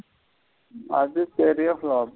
அது பெரிய flop.